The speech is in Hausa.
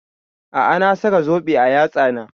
A'a na saka zobe a yatsan ta